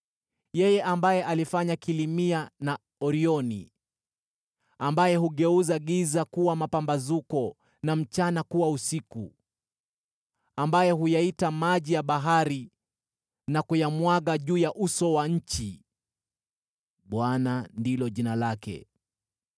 (yeye ambaye alifanya Kilimia na Orioni, ambaye hugeuza giza kuwa mapambazuko na mchana kuwa usiku, ambaye huyaita maji ya bahari na kuyamwaga juu ya uso wa nchi: Bwana ndilo jina lake;